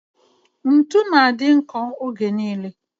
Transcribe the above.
Ntụ na-adị nkọ oge niile